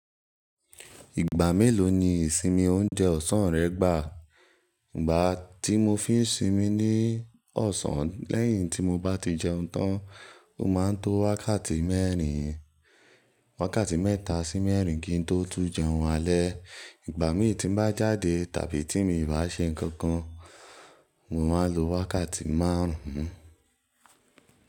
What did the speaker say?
Ìgbà mélòó ni ìsinmi oúnjẹ ọ̀sán rẹ gbà? Ìgbá tí mo fi ń sinmi ní ọ̀sán lẹ́yìn tí mo bá ti jẹun tán, o máa ń tó wákàtí mẹ́rin, wákàtí mẹ́ta sí mẹ́rin kí n tó tún jẹun alẹ́. Ìgbà mí tí n bá jáde tàbí tí mi bá ṣe nǹkan kan, mo máa lo wákàtí márùn ún.